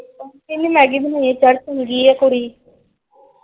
ਕਹਿੰਦੇ ਮੈਗੀ ਬਣਾਉਣੀ ਕੁੜੀ।